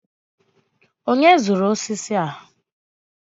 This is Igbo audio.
onye zụrụ osisi a?